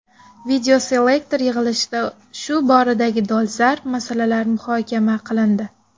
Videoselektor yig‘ilishida shu boradagi dolzarb masalalar muhokama qilindi.